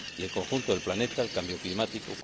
y el conjunto del planeta, el cambio climático.